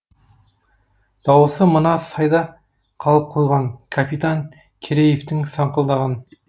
дауысы мына сайда қалып қойған капитан кереевтің саңқылдаған